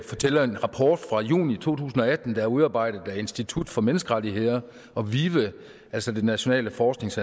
fortælle at en rapport fra juni to tusind og atten der er udarbejdet af institut for menneskerettigheder og vive altså det nationale forsknings